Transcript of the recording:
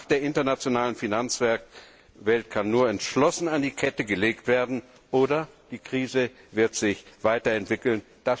Die Macht der internationalen Finanzwelt kann nur entschlossen an die Kette gelegt werden, oder die Krise wird sich weiterentwickeln.